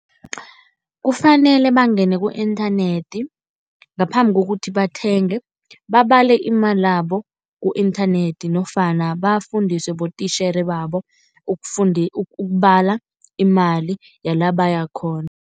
kufanele bangene ku-inthanethi ngaphambi kokuthi bathenge, babale imalabo ku-inthanethi nofana bafundiswe botitjhere babo ukubala imali yala bayakhona.